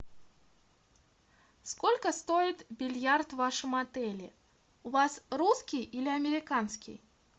сколько стоит бильярд в вашем отеле у вас русский или американский